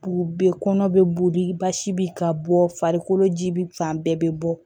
U bɛ kɔnɔ bɛ boli basi bɛ ka bɔ farikolo ji bi fan bɛɛ bɛ bɔ